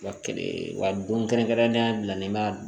Wa don kɛrɛnkɛrɛnnenya bila n'i ma